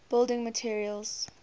building materials